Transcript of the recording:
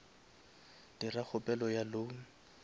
dira kgopelo ya loan